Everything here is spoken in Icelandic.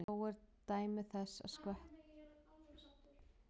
Þó eru dæmi þess, að skvettur hafa farið í Tungnaá.